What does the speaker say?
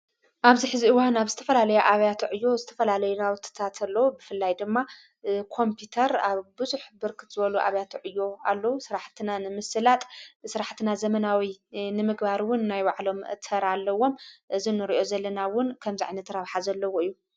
ኣብዚ ሕዚ ኡዋን ናብ ዝተፈላለዮ ኣብያተዕ ዮ ዝተፈላለይ ናውትታእተሎ ብፍላይ ድማ ኮምፑተር ኣብ ብዙኅ ብርክት ዘበሉ ኣብያትዕ እዩ ኣሎዉ ሥራሕትና ንምስላጥ ሥራሕትና ዘመናዊይ ንምግባርውን ናይ ባዕሎም ተራ ኣለዎም ዝኑርዮ ዘለናውን ከምዛዕኒ ትራብሓ ዘለዎ እዩ።